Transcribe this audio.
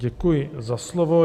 Děkuji za slovo.